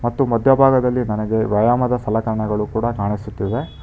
ಮತ್ತು ಮಧ್ಯಭಾಗದಲ್ಲಿ ನನಗೆ ವ್ಯಾಯಾಮದ ಸಲಕರಣೆಗಳು ಕೂಡ ಕಾಣಿಸುತ್ತಿವೆ.